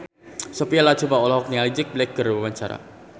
Sophia Latjuba olohok ningali Jack Black keur diwawancara